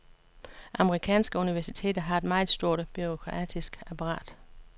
Amerikanske universiteter har et meget stort bureaukratisk apparat.